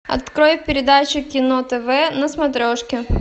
открой передачу кино тв на смотрешке